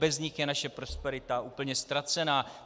Bez nich je naše prosperita úplně ztracená.